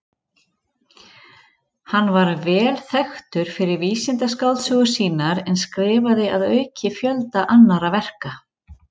Hann var vel þekktur fyrir vísindaskáldsögur sínar en skrifaði að auki fjölda annarra verka.